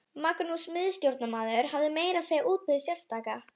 Magnús miðstjórnarmaður hafði meira að segja útbúið sérstaka